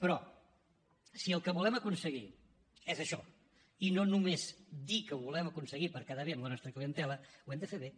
però si el que volem aconseguir és això i no només dir que ho volem aconseguir per quedar bé amb la nostra clientela ho hem de fer bé